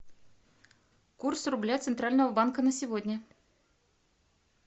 курс рубля центрального банка на сегодня